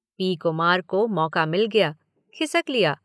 P Kumar को मौका मिल गया, खिसक लिया।